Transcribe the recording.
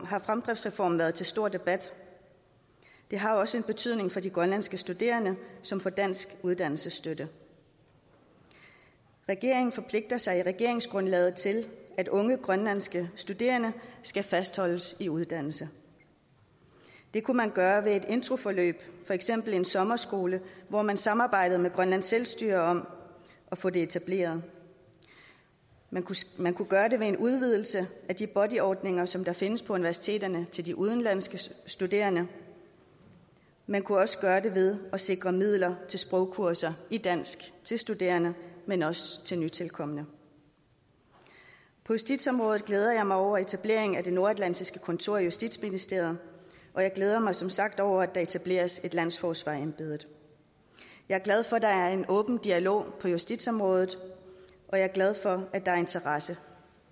har fremdriftsreformen været til stor debat det har også en betydning for de grønlandske studerende som får dansk uddannelsesstøtte regeringen forpligter sig i regeringsgrundlaget til at unge grønlandske studerende skal fastholdes i uddannelse det kunne man gøre ved et introforløb for eksempel en sommerskole hvor man samarbejdede med grønlands selvstyre om at få det etableret man man kunne gøre det ved en udvidelse af de buddy ordninger som findes på universiteterne til de udenlandske studerende man kunne også gøre det ved at sikre midler til sprogkurser i dansk til studerende men også til nytilkomne på justitsområdet glæder jeg mig over etablering af det nordatlantiske kontor i justitsministeriet og jeg glæder mig som sagt over at der etableres et landsforsvarerembede jeg er glad for at der er en åben dialog på justitsområdet og jeg er glad for at der er interesse